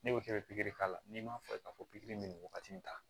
Ne bɛ kɛ bɛri k'a la n'i m'a fɔ k'a fɔ pikiri bɛ nin wagati in na tan